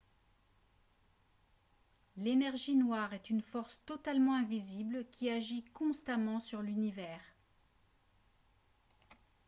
l'énergie noire est une force totalement invisible qui agit constamment sur l'univers